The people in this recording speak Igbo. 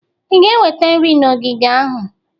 ị ga-eweta nri na ogige ahụ?